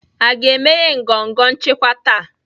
A ga-emeghe ngọngọ nchịkwa taa?